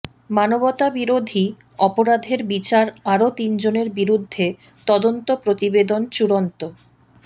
মানবতাবিরোধী অপরাধের বিচার আরও তিনজনের বিরুদ্ধে তদন্ত প্রতিবেদন চূড়ান্ত